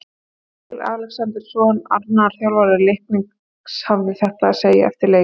Freyr Alexandersson, annar þjálfara Leiknis, hafði þetta að segja eftir leik: